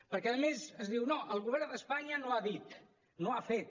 perquè a més es diu no el govern d’espanya no ha dit no ha fet